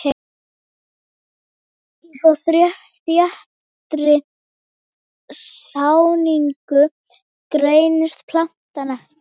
Í svo þéttri sáningu greinist plantan ekki.